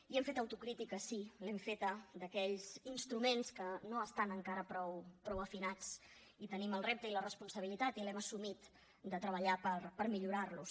i hem fet autocrítica sí l’hem feta d’aquells instruments que no estan encara prou afinats i tenim el repte i la responsabilitat i l’hem assumit de treballar per millorar los